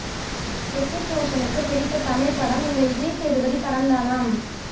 ஹிருத்திக் ரோஷனுக்கு பிடித்த தமிழ்ப்படம் இந்த விஜய் சேதுபதி படம் தானாம்